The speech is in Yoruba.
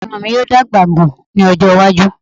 Irun mi yoo dagba gun ni ojo iwaju